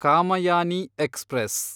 Kamayani express